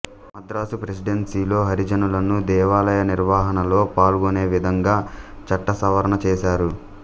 మద్రాసు ప్రెసిడెన్సీలో హరిజనులను దేవాలయ నిర్వాహణలో పాల్గొనేవిధంగా చట్టసవరణ చేశారు